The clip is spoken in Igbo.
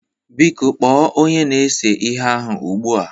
Biko kpoo Onye na-ese ihe ahu ugbua!